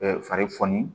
fari foni